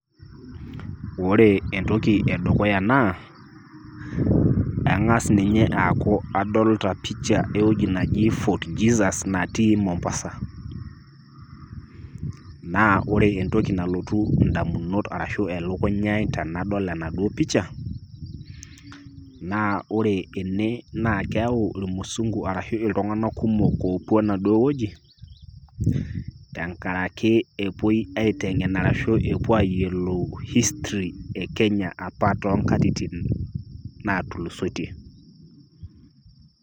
Ore entoki edukuya naa eng'as ninye eeku adolita pisha ewuoji naji Fort Jesus natii Mombasa naa ore entoki nalotu indamunot arashu elukunya ai tenedol enaduo pisha naa ore ene naa keyau irmusungu ashu iltung'anak kumok oopuo enduo wueji tenkaraki epuoi aiteng'en arashu epuo aiteng'en history e Kenya apa toonkatitin naatulusoitie.